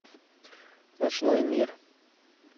ночной мир